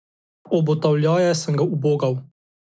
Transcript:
Obotavljaje sem ga ubogal.